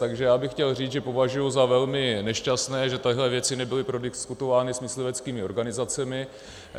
Takže já bych chtěl říct, že považuji za velmi nešťastné, že tyto věci nebyly prodiskutovány s mysliveckými organizacemi.